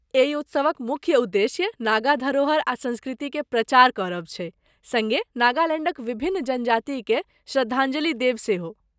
एहि उत्सवक मुख्य उद्देश्य नागा धरोहर आ संस्कृति के प्रचार करब छैक, सङ्गे नागालैण्डक विभिन्न जनजातिकेँ श्रद्धांजलि देब सेहो।